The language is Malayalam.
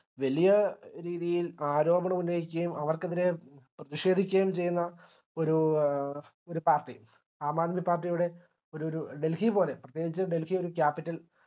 വലിയ രീതിയിൽ ആരോപണം ഉന്നയിക്കുകയും അവർക്കെതിരെ പ്രതിഷേധിക്കുകയും ചെയ്യുന്ന ഒര് ആഹ് ഒരു party ആം ആദ്മി part യുടെ ഒര് ഒരു delhi പോലെ അപ്പഴേക്കു delhi ഒരു capital